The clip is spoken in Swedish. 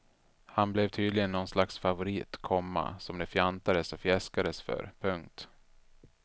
Han blev tydligen någon slags favorit, komma som det fjantades och fjäskades för. punkt